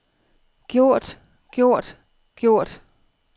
gjort gjort gjort